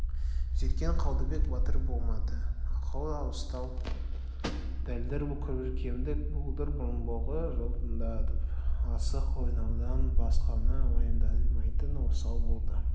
сөйткен қалдыбек батыр болмады ақылы ауыстау дәлдір боркемік болдыр мұрынбоғы жылтыңдап асық ойнаудан басқаны уайымдамайтын осал болды